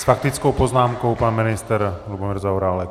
S faktickou poznámkou pan ministr Lubomír Zaorálek.